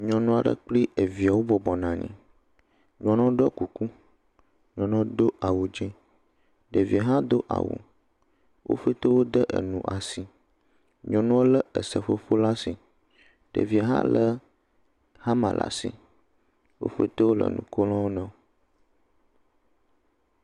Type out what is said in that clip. Nyɔnu aɖe kpli eviɛ wobɔbɔ nɔ anyi. Nyɔnua ɖɔ kuku, nyɔnua do awu dzẽ. Ɖeviɛ hã do awu. Wo ƒete wode enu asi. Nyɔnua lé eseƒoƒo laa ashi. Ɖeviɛ hã lé xama le asi. Wo ƒete wole nu ko na wo nɔewo.